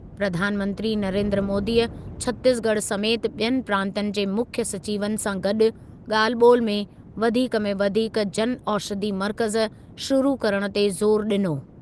प्रधानमंत्री नरेन्द्र मोदीअ छतीसगढ़ समेति ॿियनि प्रांतनि जे मुख्यु सचिवनि जा गॾु ॻाल्हि ॿोलि में वधीक में वधीक जन औषधि मर्कज़ शुरु करण ते ज़ोरु ॾिनो।